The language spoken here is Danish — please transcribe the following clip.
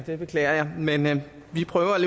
det beklager jeg men vi prøver at